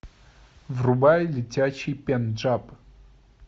врубай летящий пенджаб